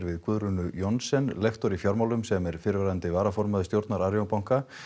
við Guðrúnu Johnsen lektor í fjármálum sem er fyrrverandi varaformaður stjórnar Arion banka